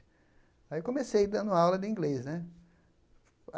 Aí eu comecei dando aula de inglês, né.